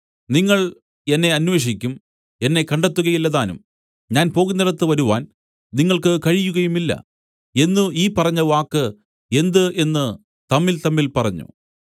നിങ്ങൾ എന്നെ അന്വേഷിക്കും എന്നെ കണ്ടെത്തുകയില്ലതാനും ഞാൻ പോകുന്നിടത്ത് വരുവാൻ നിങ്ങൾക്ക് കഴിയുകയുമില്ല എന്നു ഈ പറഞ്ഞവാക്ക് എന്ത് എന്നു തമ്മിൽതമ്മിൽ പറഞ്ഞു